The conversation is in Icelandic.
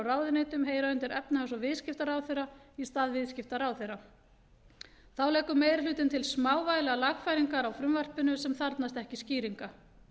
ráðuneytum heyra undir efnahags og viðskiptaráðherra í stað viðskiptaráðherra þá leggur meiri hlutinn til smávægilegar lagfæringar á frumvarpinu sem þarfnast ekki skýringa